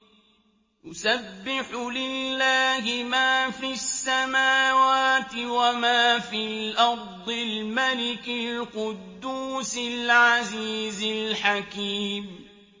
يُسَبِّحُ لِلَّهِ مَا فِي السَّمَاوَاتِ وَمَا فِي الْأَرْضِ الْمَلِكِ الْقُدُّوسِ الْعَزِيزِ الْحَكِيمِ